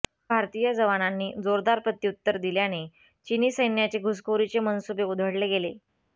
भारतीय जवानांनी जोरदार प्रत्युत्तर दिल्याने चिनी सैन्याचे घुसखोरीचे मनसुबे उधळले गेले